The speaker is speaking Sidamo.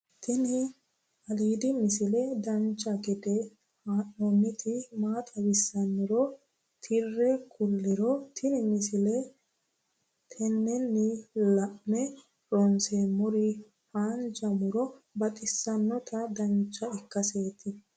tini aliidi misile dancha gede haa'nooniti maa xawissannoro tire kulliro tini misile tennenni la'ne ronseemmori haanja muro baxissannota dancha ikkaseeti